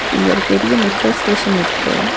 இங்க ஒரு பெரிய மெட்ரோ ஸ்டேஷன் இருக்கு.